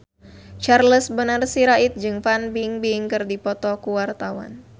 Charles Bonar Sirait jeung Fan Bingbing keur dipoto ku wartawan